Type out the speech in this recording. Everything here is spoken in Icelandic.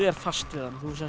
er fast við hann þú